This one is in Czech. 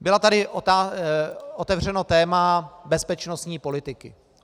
Bylo tady otevřeno téma bezpečnostní politiky.